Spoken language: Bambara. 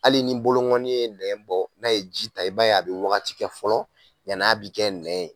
Hali ni boloŋɔni ye nɛn bɔ, n'a ye ji ta i b'a ye a be wagati kɛ fɔlɔ yan'a bi kɛ nɛn ye.